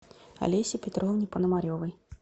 олесе петровне пономаревой